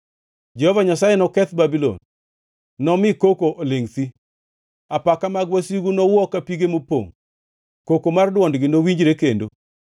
Jehova Nyasaye noketh Babulon; nomi koko olingʼ thi. Apaka mag wasigu nowuo ka pige mopongʼ; koko mar dwondgi nowinjre kendo.